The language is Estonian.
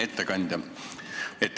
Ettekandja!